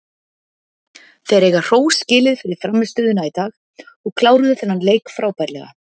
Þeir eiga hrós skilið fyrir frammistöðuna í dag og kláruðu þennan leik frábærlega.